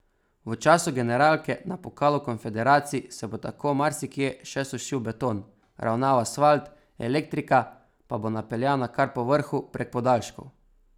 V času generalke na pokalu konfederacij se bo tako marsikje še sušil beton, ravnal asfalt, elektrika pa bo napeljana kar po vrhu prek podaljškov.